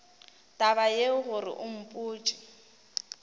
taba yeo gore o mpotše